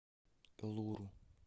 элуру